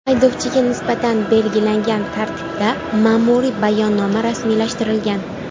Haydovchiga nisbatan belgilangan tartibda ma’muriy bayonnoma rasmiylashtirilgan.